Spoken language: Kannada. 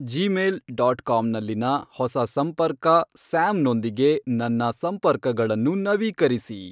ಜೀಮೇಲ್ ಡಾಟ್ ಕಾಮ್ನಲ್ಲಿನ ಹೊಸ ಸಂಪರ್ಕ, ಸ್ಯಾಮ್ನೊಂದಿಗೆ, ನನ್ನ ಸಂಪರ್ಕಗಳನ್ನು ನವೀಕರಿಸಿ